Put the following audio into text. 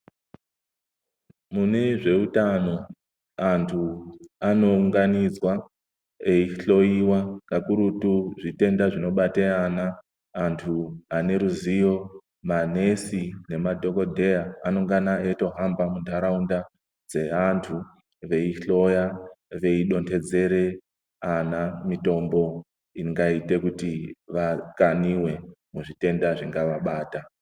Mune zveutano antu anounganidzwa eihloyiwa kakurutu zvitenda zvinobate ana. Antu aneruziyo, manesi nemadhokodheya anongana eitohamba mundaraunda dzeantu veihloya, veidonhedzere ana mitombo ingaite kuti vakaniwe muzvitenda zvingavabata.